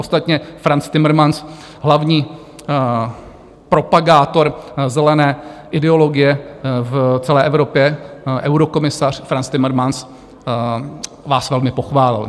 Ostatně Frans Timmermans, hlavní propagátor zelené ideologie v celé Evropě, eurokomisař Frans Timmermans, vás velmi pochválil.